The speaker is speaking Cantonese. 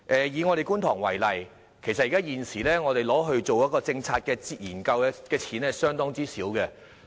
以觀塘為例，現時我們用作政策研究的款額相當少。